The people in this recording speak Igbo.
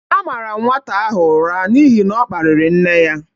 A mara m nwata ahụ ụra n'ihi ọ kpariri nne ya